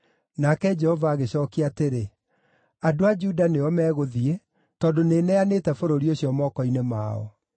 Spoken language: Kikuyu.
Nake Jehova agĩcookia atĩrĩ, “Andũ a Juda nĩo megũthiĩ, tondũ nĩneanĩte bũrũri ũcio moko-inĩ mao.”